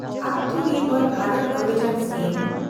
ᱟᱛᱢᱚ ᱱᱤᱨᱵᱷᱚᱨ ᱵᱷᱟᱨᱚᱛ ᱚᱵᱷᱤᱡᱟᱱ ᱥᱠᱤᱢ